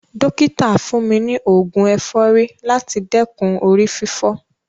Dọ́kítà fún mi ni oògun ẹ̀fọ́rí láti dẹ́kun orí fífọ́.